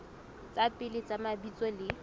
tsa pele tsa mabitso le